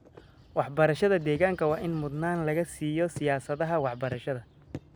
Waxbarashada deegaanka waa in mudnaan laga siiyo siyaasadaha waxbarashada.